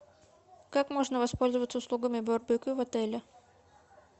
как можно воспользоваться услугами барбекю в отеле